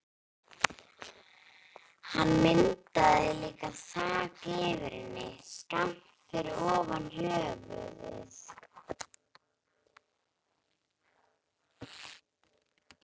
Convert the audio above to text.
Hann myndaði líka þak yfir henni, skammt fyrir ofan höfuðið.